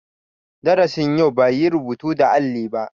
Darasin yau ba yi rubutu da alli ba.